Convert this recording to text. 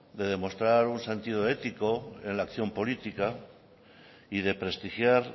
de demostrar un sentido ético en la acción política y de prestigiar